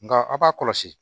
Nka aw b'a kɔlɔsi